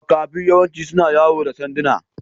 Makafi yawanci suna yawo da sanduna.